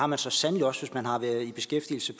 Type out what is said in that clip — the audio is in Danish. man så sandelig også hvis man har været i beskæftigelse